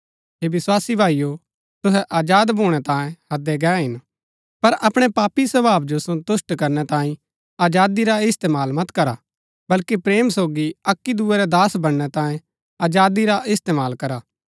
हे विस्वासी भाईओ तुहै आजाद भूणै तांयें हैदै गै हिन पर अपणै पापी स्वभाव जो सन्तुष्‍ट करनै तांये आजादी रा इस्तेमाल मत करा बल्कि प्रेम सोगी अक्की दूये रै दास बनणै तांये आजादी रा इस्तेमाल करा